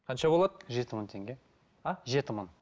қанша болады жеті мың теңге а жеті мың